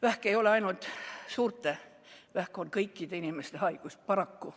Vähk ei ole ainult suurte, vähk on kõikide inimeste haigus, paraku.